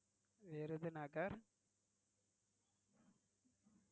Virudhunagar